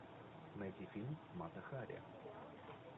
найди фильм мата хари